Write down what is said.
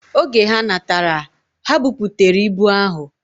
Oge ha natara, ha buputere ibu ahu.